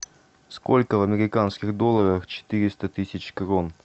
сколько в американских долларах четыреста тысяч крон